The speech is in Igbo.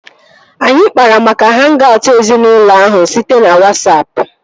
Anyị kpara maka hang-aut ezinaụlọ ahụ site na Wasapụ